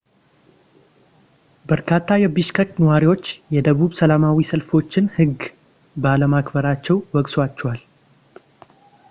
በርካታ የቢሽከክ ነዋሪዎች የደቡብ ሰላማዊ ሰልፈኞችን ህግ ባለማክበራቸው ወቅሰዋቸዋል